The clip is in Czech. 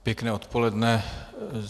Pěkné odpoledne.